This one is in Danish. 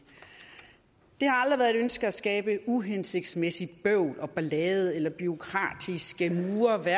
ønske at skabe uhensigtsmæssigt bøvl og ballade eller bureaukratiske